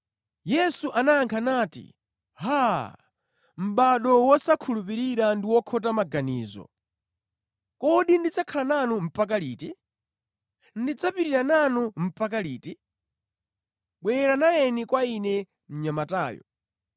Yesu anayankha nati, “ Haa, mʼbado wosakhulupirira ndi wokhota maganizo! Kodi ndidzakhala nanu mpaka liti? Ndidzapirira nanu mpaka liti? Bwera nayeni kwa Ine mnyamatayo.”